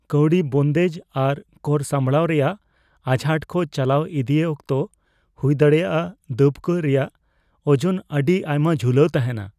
ᱠᱟᱹᱣᱰᱤ ᱵᱚᱱᱫᱮᱡ ᱟᱨ ᱠᱚᱨ ᱥᱟᱯᱲᱟᱣ ᱨᱮᱭᱟᱜ ᱟᱡᱷᱟᱴ ᱠᱚ ᱪᱟᱞᱟᱣ ᱤᱫᱤᱭ ᱚᱠᱛᱚ ᱦᱩᱭᱫᱟᱲᱮᱭᱟᱜ ᱫᱟᱹᱵ ᱠᱚ ᱨᱮᱭᱟᱜ ᱳᱡᱚᱱ ᱟᱹᱰᱤ ᱟᱭᱢᱟ ᱡᱷᱩᱞᱟᱹᱣ ᱛᱟᱦᱮᱸᱱᱟ ᱾